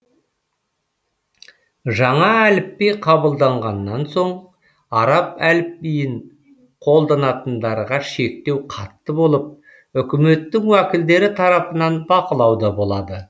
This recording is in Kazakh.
жаңа әліпби қабылданғаннан соң араб әліпбиін қолданатындарға шектеу қатты болып өкіметтің уәкілдері тарапынан бақылауда болады